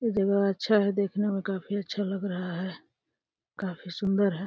ये जगह अच्छा है। देखने में काफी अच्छा लग रहा है। काफी सुन्दर है।